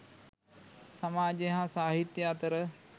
සමාජය හා සාහිත්‍ය අතර